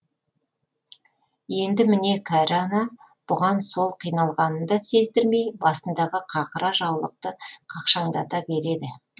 енді міне кәрі ана бұған сол қиналғанын да сездірмей басындағы қақыра жаулықты қақшаңдата береді